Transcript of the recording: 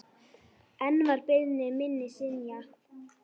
Enn var beiðni minni synjað.